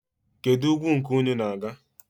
Kedụ ugwu nke unu na-aga?